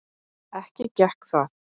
Ekki gekk það.